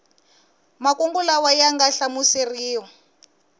makungu lawa ya nga hlamuseriwa